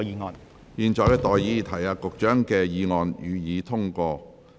我現在向各位提出上述待決議題。